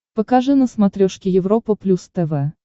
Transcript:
покажи на смотрешке европа плюс тв